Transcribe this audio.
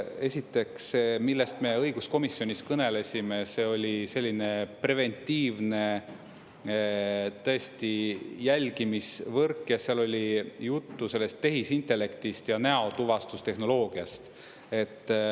Esiteks see, millest me õiguskomisjonis kõnelesime, see oli selline preventiivne, tõesti, jälgimisvõrk, ja seal oli juttu sellest tehisintellektist ja näotuvastustehnoloogiast.